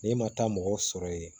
N'e ma taa mɔgɔw sɔrɔ ye